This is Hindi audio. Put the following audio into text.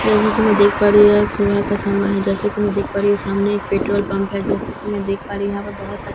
जैसे की मैं देख पा रही हूँ यह एक सुबह का समय है जैसे की मैं देख पा रही हूँ सामने एक पेट्रोल पंप है जैसे की मैं देख पा रही हूँ यहाँ पर बहुत सारे हरे भरे पेड़ --